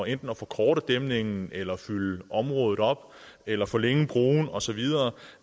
enten at forkorte dæmningen eller fylde området op eller forlænge broen og så videre